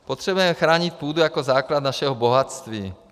Potřebujeme chránit půdu jako základ našeho bohatství.